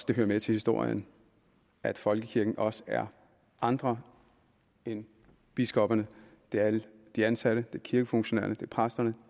det hører med til historien at folkekirken også er andre end biskopperne det er alle de ansatte det er kirkefunktionærerne det er præsterne